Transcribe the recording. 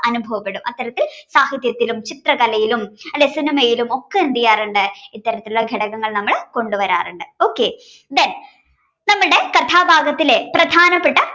അനുഭവപ്പെടും അത്തരത്തിൽ സാഹിത്യത്തിലും ചിത്രകലയിലും അല്ലേ സിനിമയിലും ഒക്കെ എന്തിയാറുണ്ട് ഇത്തരത്തിലുള്ള ഘടകങ്ങൾ നമ്മൾ കൊണ്ടുവരാറുണ്ട് okay. Then നമ്മുടെ കഥാഭാഗത്തിലെ പ്രധാനപ്പെട്ട കഥ